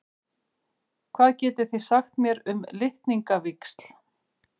Hvað getið þið sagt mér um litningavíxl?